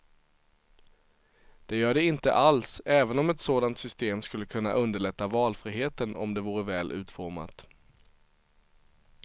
Det gör det inte alls, även om ett sådant system skulle kunna underlätta valfriheten om det vore väl utformat.